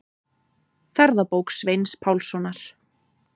Ferðabók Sveins Pálssonar.